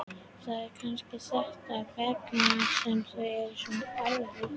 Það er kannski þess vegna sem þau eru svona erfið.